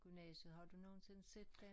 Gymnasiet har ud nogensinde set den?